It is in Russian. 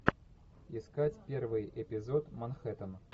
искать первый эпизод манхэттен